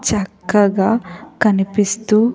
చక్కగా కనిపిస్తూ--